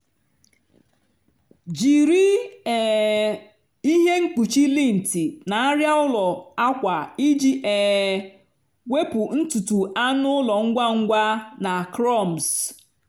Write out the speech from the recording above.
jiri um ihe mkpuchi lint na arịa ụlọ akwa iji um wepụ ntutu anụ ụlọ ngwa ngwa na crumbs.